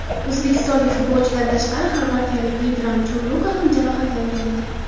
O‘zbekistonlik futbolchidan tashqari xorvatiyalik Vedran Chorluka ham jarohatlangandi.